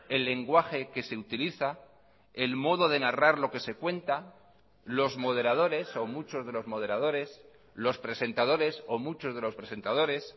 el lenguaje que se utiliza el modo de narrar lo que se cuenta los moderadores o muchos de los moderadores los presentadores o muchos de los presentadores